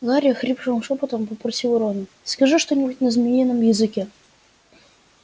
гарри охрипшим шёпотом попросил рон скажи что-нибудь на змеином языке